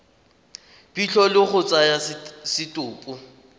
phitlho le go tsaya setopo